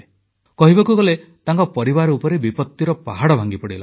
କହିବାକୁ ଗଲେ ତାଙ୍କ ପରିବାର ଉପରେ ବିପତ୍ତିର ପାହାଡ଼ ଭାଙ୍ଗିପଡ଼ିଲା